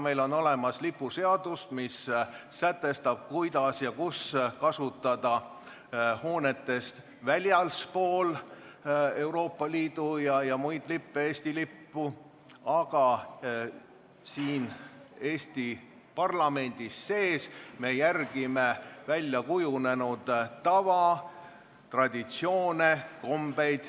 Meil on lipuseadus, mis sätestab, kuidas ja kus kasutada hoonetest väljaspool Euroopa Liidu ja muid lippe, Eesti lippu, aga siin Eesti parlamendis sees me järgime väljakujunenud tava, traditsioone, kombeid.